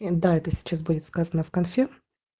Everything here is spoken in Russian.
и да это сейчас будет сказано в конфе